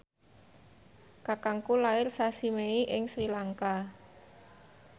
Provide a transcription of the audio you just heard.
kakangku lair sasi Mei ing Sri Lanka